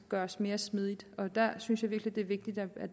gøres mere smidigt og der synes jeg virkelig det er vigtigt at